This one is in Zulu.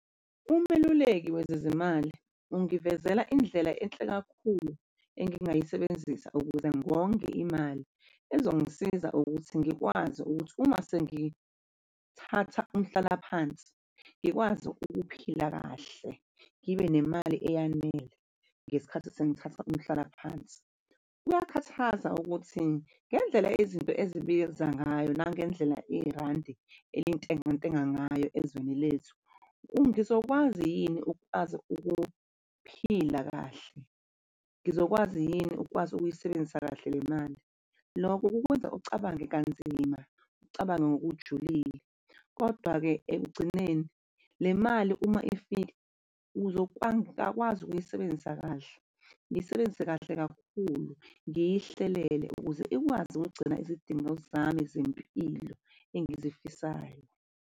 Umeluleki wezezimali ungivezele indlela enhle kakhulu engingayisebenzisa ukuze ngonge imali ezongisiza ukuthi ngikwazi ukuthi uma sengithatha umhlalaphansi ngikwazi ukuphila kahle, ngibe nemali eyanele ngesikhathi sengithatha umhlalaphansi. Kuyakhathaza ukuthi ngendlela izinto ezibiza ngayo nangendlela irandi elintengantenga ngayo ezweni lethu. Ngizokwazi yini ukwazi ukuphila kahle? Ngizokwazi yini ukwazi ukuyisebenzisa kahle le mali? Lokho kukwenza ucabange kanzima ucabange ngokujulile, kodwa-ke ekugcineni le mali uma ifika, ngingakwazi ukuyisebenzisa kahle, ngiyisebenzise kahle kakhulu, ngiyihlelele ukuze ikwazi ukugcina izidingo zami zempilo engizifisayo.